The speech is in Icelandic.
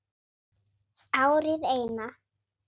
Árið Eina.